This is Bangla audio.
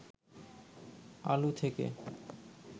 আলু থেকে